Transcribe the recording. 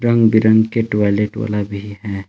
रंग बिरंग के टायलेट वाला भी है।